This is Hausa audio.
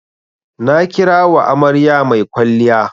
Na kira wa amarya mai kwalliya.